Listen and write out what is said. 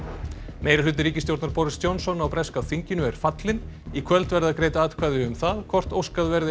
meirihluti ríkisstjórnar Boris Johnson á breska þinginu er fallinn í kvöld verða greidd atkvæði um það hvort óskað verði